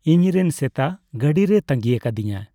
ᱤᱧᱨᱮᱱ ᱥᱮᱛᱟ ᱜᱟᱺᱰᱤ ᱨᱮᱭ ᱛᱟᱸᱜᱤ ᱟᱠᱟᱫᱤᱧᱟ ᱾